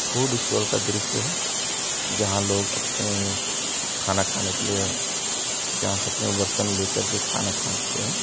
Food stall का दृश्य है | जहां लोग आपने खाना खाने के लिए जा सकते है बर्तन लेकर के खाना खा सकते हैं।